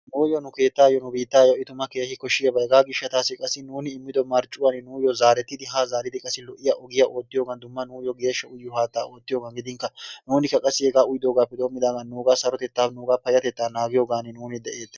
Nuuyoo nu keettaayoi nu biittayo i tuma keehi koshshiyaabaa hegaa gishshataassi qasi nuuni demido marccuwaan nuuyo zaarettidi ha zaaridi lo'iya ogiyaa oottiyogan geeshsha haattaa oottiyogan gidinkka nuunikka qassi hegaa uyidoogaappe doomidaagan nugaa sarotettaa payatetaa naagiyaagan nuuni de'ettees.